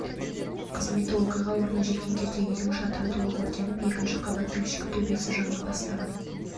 қызметі оқиға орнына жеткен кезде үйдің шатыры толық өртеніп екінші қабаттың ішкі төбесі жана бастаған